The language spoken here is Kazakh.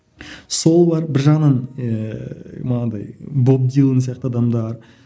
сол бар бір жағынан ііі манадай боб дилан сияқты адамдар